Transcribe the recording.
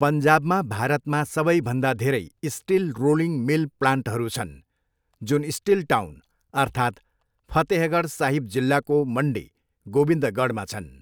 पन्जाबमा भारतमा सबैभन्दा धेरै स्टिल रोलिङ मिल प्लान्टहरू छन्, जुन स्टिल टाउन अर्थात् फतेहगढ साहिब जिल्लाको मन्डी गोबिन्दगढमा छन्।